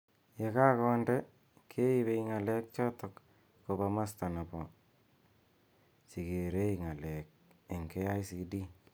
Ye ka konde , keibei ng'alek chot koba masta nebo chekerei ng'alek eng KICD